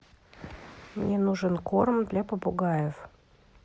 мне нужен корм для попугаев